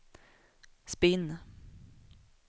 spinn